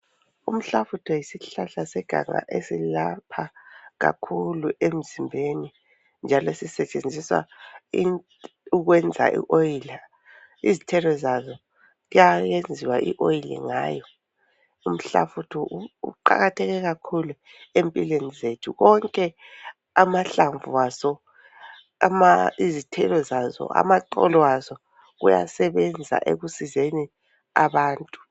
Umhlafutho yisihlahla seganga esilapha kakhulu emzimbeni njalo sisetshenziswa ukwenza ioyili . Izithelo zazo kuyayenziwa ioyili ngayo. Umhlafutho uqakatheke kakhulu empilweni zethu. Wonke amahlamvu azo, izithelo azo, amaxolo azo kuyasebenza ekusizeni abantu.